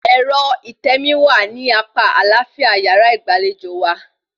Ẹ̀rọ ìtẹmií wà ní apá àlàáfíà yàrá ìgbàlejò wa